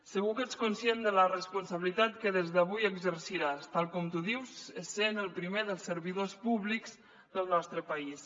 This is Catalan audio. segur que ets conscient de la responsabilitat que des d’avui exerciràs tal com tu dius sent el primer dels servidors públics del nostre país